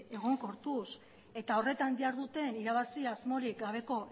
egonkortuz eta horretan jarduten irabazi asmorik gabeko